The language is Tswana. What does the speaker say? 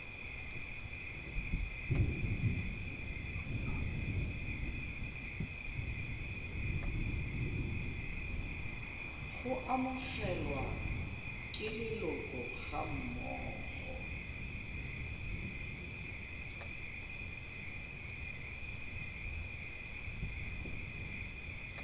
go amogelwa ke leloko gammogo